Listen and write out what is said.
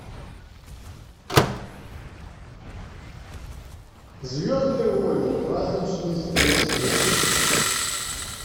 звездные войны праздничный спецвыпуск